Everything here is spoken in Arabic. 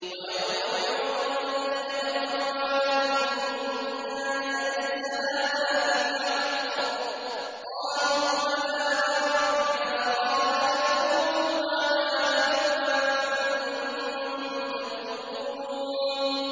وَيَوْمَ يُعْرَضُ الَّذِينَ كَفَرُوا عَلَى النَّارِ أَلَيْسَ هَٰذَا بِالْحَقِّ ۖ قَالُوا بَلَىٰ وَرَبِّنَا ۚ قَالَ فَذُوقُوا الْعَذَابَ بِمَا كُنتُمْ تَكْفُرُونَ